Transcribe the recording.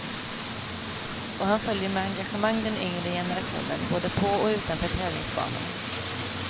Och han följer med engagemang den yngre generationen, både på och utanför tävlingsbanorna.